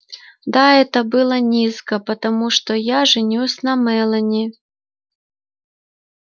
да это было низко потому что я женюсь на мелани